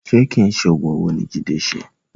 Ṣe kìí ṣe oògùn owó ni Jide ṣe?